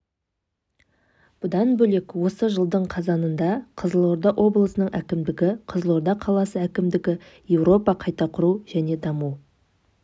бұдан бөлек осы жылдың қазанында қызылорда облысының әкімдігі қызылорда қаласы әкімдігі еуропа қайта құру және даму